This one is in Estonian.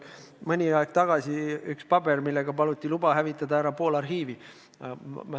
Mõni aeg tagasi toodi mulle seal üks paber, millega paluti luba hävitada pool arhiivi.